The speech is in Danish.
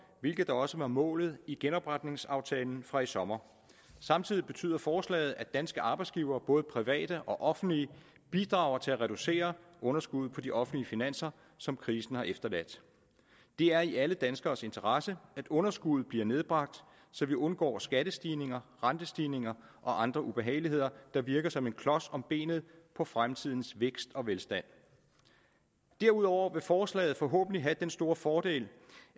hvilket også var målet i genopretningsaftalen fra i sommer samtidig betyder forslaget at danske arbejdsgivere både private og offentlige bidrager til at reducere underskuddet på de offentlige finanser som krisen har efterladt det er i alle danskeres interesse at underskuddet bliver nedbragt så vi undgår skattestigninger rentestigninger og andre ubehageligheder der virker som en klods om benet på fremtidens vækst og velstand derudover vil forslaget forhåbentlig have den store fordel